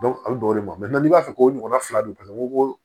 a bi d'o de ma n'i b'a fɛ k'o ɲɔgɔnna fila don u ko ko